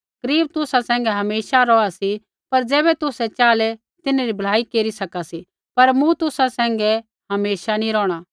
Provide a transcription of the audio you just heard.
गरीब तुसा सैंघै हमेशा रौहा सी होर ज़ैबै तुसै च़ाहलै तिन्हरी भलाई केरी सका सी पर मूँ तुसा सैंघै हमेशा नी रोहणा